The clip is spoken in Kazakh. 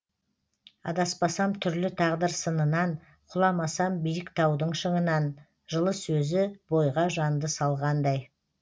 адаспасам түрлі тағдыр сынынан құламасам биік таудың шыңынан жылы сөзі бойға жанды салғандай